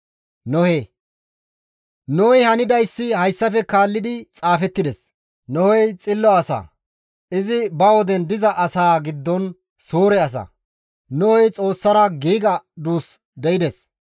Nohey hanidayssi hayssafe kaallidi xaafettides. Nohey xillo asa; izi ba woden diza asaa giddon suure asa; Nohey Xoossara giiga duus de7ides.